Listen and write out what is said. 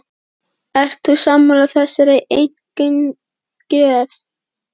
Ert þú sammála þessari einkunnagjöf?